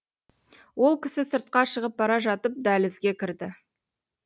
ол кісі сыртқа шығып бара жатып дәлізге кідірді